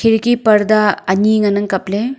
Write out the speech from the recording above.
khidki parda aani ngan ang kap le.